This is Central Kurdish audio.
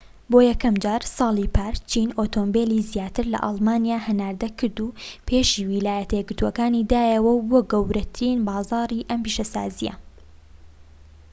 بۆ یەکەمجار ساڵی پار چین ئۆتۆمبیلی زیاتر لە ئەڵمانیا هەناردە کرد و پێشی ویلایەتە یەکگرتوەکان دایەوە و بووە گەورەترین بازاری ئەم پیشەسازیە